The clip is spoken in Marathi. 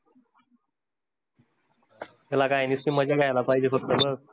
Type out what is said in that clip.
त्याला काय निस्ती मजा घ्यायला पाहिजे, फक्त बस